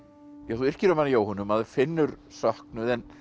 þú yrkir um hana Jóhönnu og maður finnur söknuð en